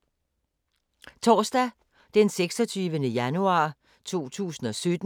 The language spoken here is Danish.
Torsdag d. 26. januar 2017